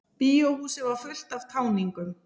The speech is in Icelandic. Bíóhúsið var fullt af táningum.